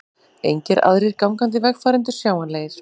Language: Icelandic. Engir aðrir gangandi vegfarendur sjáanlegir.